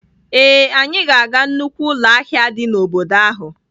Ee, anyị ga-aga nnukwu ụlọ ahịa dị n'obodo ahụ.